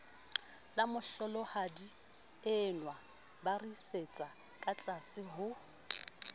lamohlolohadienwa ba ritsetsa katlase ho